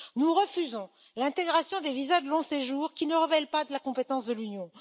Nous refusons l'intégration des visas de long séjour, qui ne relève pas de la compétence de l'Union.